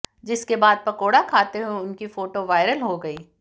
जिसके बाद पकौड़ा खाते हुए उनकी फोटो वायरल हो गई